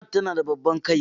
Chat tana da babban kai.